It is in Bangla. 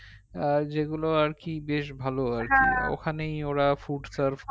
আহ যেগুলো আর কি বেশ ভালো আর কি ওখানেই ওরা food serve